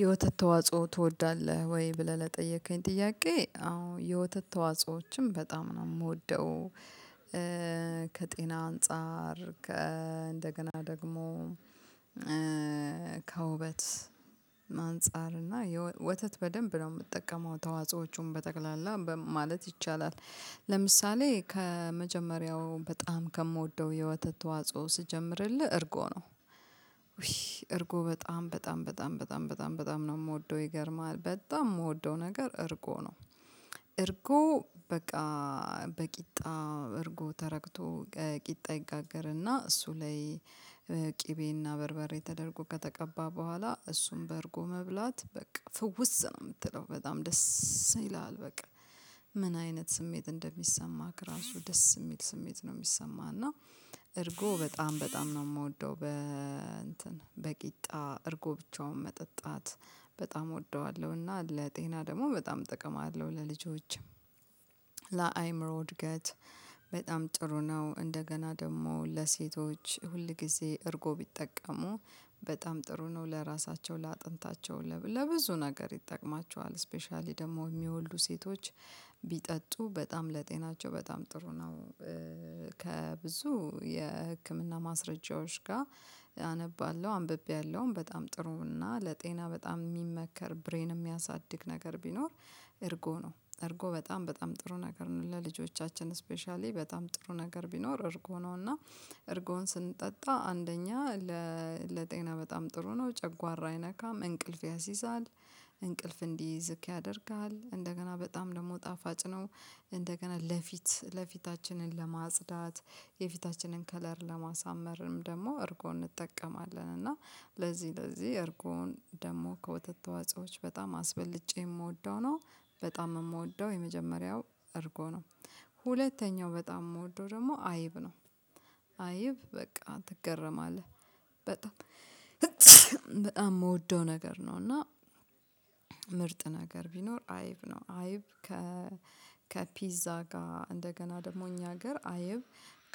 የወተት ተዋጽኦ ትወዳለህ ወይ? ብለህ ለጠየከኝ ጥያቄ አዎ የወተት ተዋጽኦዎችን በጣም ነው የምወደው። ከጤና አንፃር ከ እንደገና ደግሞ ከውበት አንፃር እና የወተት በደንብ ነው የምጠቀመው ተዋጾዎቹን በጠቅላላ ማለት ይቻላል። ለምሳሌ ከመጀመሪያው በጣም ከምወደው የወተት ተዋጽኦ ስጀምርልህ እርጎ ነው። ውይ እርጎ በጣም በጣም በጣም በጣም በጣም ነው የምወደው ይገርምሃል በጣም የምወደው ነገር እርጎ ነው። እርጎ በቃ እርጎ ተረግቶ ቂጣ ይጋገርና እሱ ላይ ቅቤና በርበሬ ተደርጎ ከተቀባ በኋላ እሱን በእርጎ መብላት በቃ ፍውስ ነው የምትለው በጣም ደስ ይልሃል በቃ። ምን አይነት ስሜት እንደሚሰማክ ራሱ ደስ የሚል ስሜት ነው የሚሰማህ። እና እርጎ በጣም በጣም ነው ምወደው በ እንትን በቂጣ እርጎ ብቻውን መጠጣት በጣም እወደዋለሁ። እና ለጤና ደግሞ በጣም ጥቅም አለው ለልጆችም። ለአይምሮ እድገት በጣም ጥሩ ነው። እንደገና ደግሞ ለሴቶች ሁል ጊዜ እርጎ ቢጠቀሙ በጣም ጥሩ ነው። ለራሳቸው ለአጥንታቸው ለብዙ ነገር ይጠቅማቸዋል ስፔሻሊ ደግሞ የሚወልዱ ሴቶች ቢጠጡ በጣም ለጤናቸው በጣም ጥሩ ነው። ከብዙ የህክምና ማስረጃዎች ጋር አነባለሁ አንብቤያለሁ። በጣም ጥሩና ለጤና በጣም የሚመከር ብሬን የሚያሳድግ ነገር ቢኖር። እርጎ ነው እርጎ በጣም በጣም ጥሩ ነገር ነው። ለልጆቻችን ስፔሻሊ በጣም ጥሩ ነገር ቢኖር እርጎ ነው። እና እርጎን ስንጠጣ አንደኛ ለጤና በጣም ጥሩ ነው ጨጓራ አይነካም እንቅልፍ ያሲዛል። እንቅልፍ እንዲይዝህ ያደርግሃል እንደገና በጣም ደግሞ ጣፋጭ ነው። እንደገና ለፊት ለፊታችንን ለማጽዳት የፊታችንን ከለር ለማሳመር ደግሞ እርጎን እንጠቀማለን። እና ለዚህ ለዚህ እርጎን ደግሞ ከወተት ተዋጾዎች በጣም አስበልጬ የምወደው ነው። በጣም የምወደው የመጀመሪያው እርጎ ነው። ሁለተኛው በጣም የምወደው ደግሞ አይብ ነው። አይብ በቃ ትገረማለህ በጣም በጣም የምወደው ነገር ነው። እና ምርጥ ነገር ቢኖር አይብ ነው። አይብ ከ ከፒዛ ጋር እንደገና ደግሞ እኛ ሀገር አይብ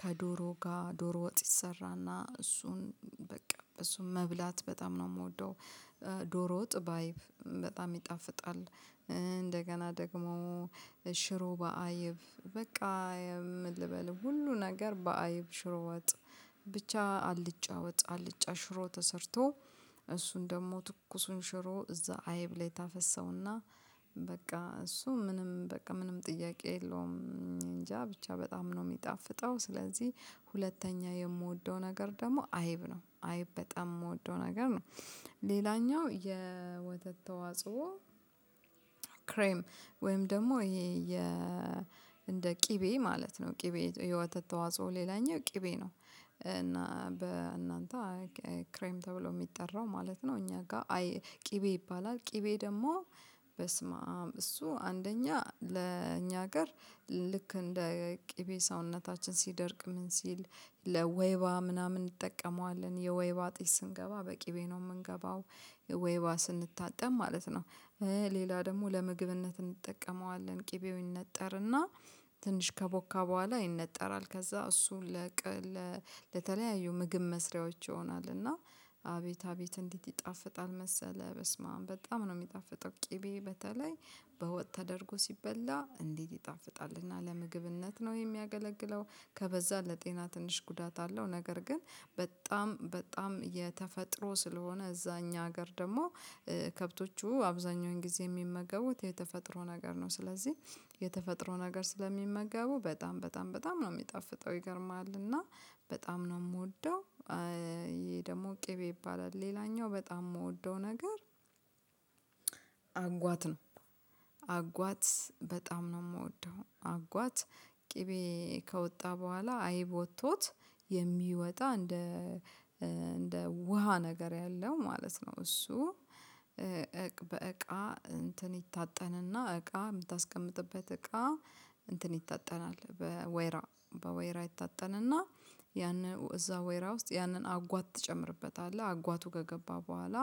ከዶሮ ጋር ዶሮ ወጥ ይሰራና እሱን በቃ እሱን መብላት በጣም ነው የምወደው። ዶሮ ወጥ በአይብ በጣም ይጣፍጣል። እንደገና ደግሞ ሽሮ በአይብ በቃ ምን ልበልህ ሁሉ ነገር በአይብ ሽሮ ወጥ ብቻ አልጫ ወጥ አልጫ ሽሮ ተሰርቶ እሱን ደግሞ ትኩሱን ሽሮ እዛ አይብ ላይ ታፈሰውና። በቃ እሱ ምንም በቃ ምንም ጥያቄ የለውም እንጃ ብቻ በጣም ነው የሚጣፍጠው። ስለዚህ ሁለተኛ የምወደው ነገር ደግሞ አይብ ነው። አይብ በጣም የምወደው ነገር ነው። ሌላኛው የወተት ተዋጽኦ ክሬም ወይም ደግሞ ይሄ የ እንደ ቅቤ ማለት ነው ቅቤ ህይወት ተዋጽኦ ሌላኛው ቅቤ ነው። እና በእናንተ ክሬም ተብሎ የሚጠራው ማለት ነው እኛ ጋር ቅቤ ይባላል። ቅቤ ደግሞ በስመአም እሱ አንደኛ ለእኛ ሀገር ልክ እንደ ቅቤ ሰውነታችን ሲደርቅ ምን ሲል ለወይባ ምናምን እንጠቀመዋለን የወይባ ጢስ ስንገባ በቅቤ ነው የምንገባው ወይባ ስንታጠብ ማለት ነው። ሌላ ደግሞ ለምግብነት እንጠቀመዋለን ቅቤው ይነጠርና ትንሽ ከቦካ በኋላ ይነጠራል ከዛ እሱን ለቀ ለተለያዩ ምግብ መስሪያዎች ይሆናል። እና አቤት አቤት እንዴት ይጣፍጣል መሰለ በስመአብ በጣም ነው የሚጣፍጠው ቅቤ በተለይ በወጥ ተደርጎ ሲበላ እንዴት ይጣፍጣል እና ለምግብነት ነው የሚያገለግለው። ከበዛ ለጤና ትንሽ ጉዳት አለው ነገር ግን በጣም በጣም የተፈጥሮ ስለሆነ እዛ እኛ ሀገር ደግሞ ከብቶቹ አብዛኛውን ጊዜ የሚመገቡት የተፈጥሮ ነገር ነው። ስለዚህ የተፈጥሮ ነገር ስለሚመገቡ በጣም በጣም በጣም ነው የሚጣፍጠው። ይገርምሀል እና በጣም ነው የምወደው። ይሄ ደግሞ ቅቤ ይባላል። ሌላኛው በጣም የምወደው ነገር አጓት ነው። አጓት በጣም ነው የምወደው አጓት ቅቤ ከወጣ በኋላ አይብ ወጥቶት የሚወጣ እንደ እንደ ውሃ ነገር ያለው ማለት ነው። እሱ እንትን ይታጠንና እቃ የምታስቀምጥበት እቃ እንትን ይታጠናል በወይራ በወይራ ይታጠን እና ያንን እዛ ወይራ ውስጥ ያንን አጓት ትጨምርበታለህ አጓቱ ከገባ በኋላ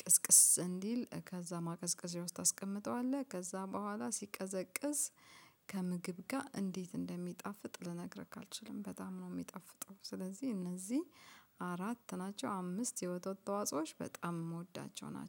ቅዝቅዝ እንዲል ከዛ ማቀዥቀዣ ውስጥ ታስቀምጠዋለህ። ከዛ በኋላ ሲቀዘቅዝ ከምግብ ጋር እንዴት እንደሚጣፍጥ ልነግርክ አልችልም በጣም ነው የሚጣፍጠው። ስለዚህ እነዚህ አራት ናቸው አምስት የወተት ተዋጽኦች በጣም የምወዳቸው ናቸው